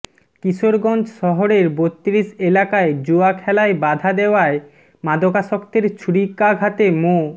কিশোরগঞ্জ শহরের বত্রিশ এলাকায় জুয়া খেলায় বাধা দেওয়ায় মাদকাসক্তের ছুরিকাঘাতে মো